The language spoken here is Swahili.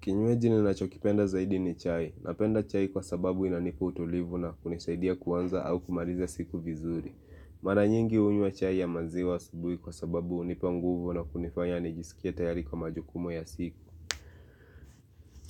Kinywaji nachokipenda zaidi ni chai. Napenda chai kwa sababu inanipa utulivu na kunisaidia kuanza au kumaliza siku vizuri. Maranyingi hunywa chai ya maziwa asubui kwa sababu unipanguvu na kunifanya nijiskie tayari kwa majukumu ya siku.